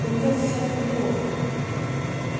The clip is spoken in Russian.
у меня сейчас тренировка